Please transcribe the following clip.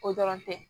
O dɔrɔn tɛ